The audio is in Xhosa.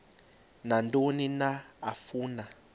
nantoni na afuna